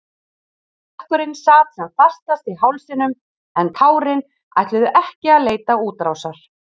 Kökkurinn sat sem fastast í hálsinum en tárin ætluðu ekki að leita útrásar.